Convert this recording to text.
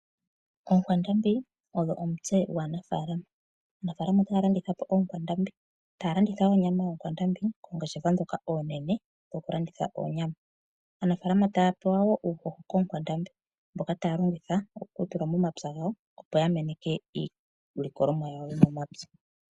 Okwandambi odho omutse gwanafalama. Aanafalama otaya landithapo okwandambi , taya landitha onyama kongeshefa dhoka onene dho kulanditha onyama, aanafalama taya pewa wo uuhoho kokwandambi mboka taya longitha okutula momapya gawo opo ya meneke iilikolonwa yawo yomo mapya.